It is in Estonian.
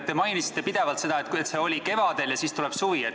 Te mainisite pidevalt, et see oli kevadel ja siis tuleb suvi.